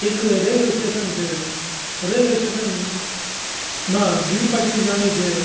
इक railway station च railway station मा द्वि पटरी जाणी च।